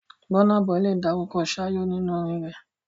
Burna Boy lè dárúkọ 'ṣáyó' nínú orin rẹ̀.